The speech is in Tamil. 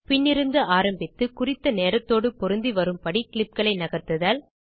பின்னிருந்து ஆரம்பித்து குறித்தநேரத்தோடு பொருந்தி வரும்படி clipகளை நகர்த்துதல்